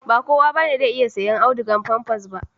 Ba kowa bane zai iya sayen audugar famfas ba